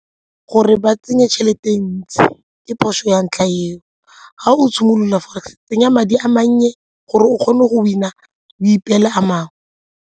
Gore ba tsenye tšhelete ntsi ke phoso ya ntlha eo, ga o simolola forex tsenya madi a mannye gore o kgone go win-a o ipeele a mangwe.